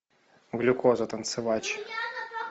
глюкоза танцевач